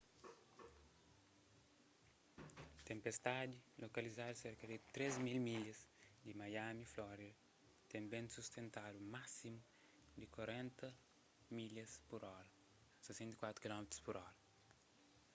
tenpestadi lokalizadu serka di 3.000 milhas di miami florida ten bentu sustentadu másimu di 40 mph 64 kph